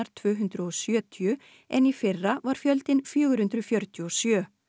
tvö hundruð og sjötíu en í fyrra var fjöldinn fjögur hundruð fjörutíu og sjö